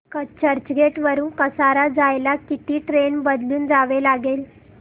चर्चगेट वरून कसारा जायला किती ट्रेन बदलून जावे लागेल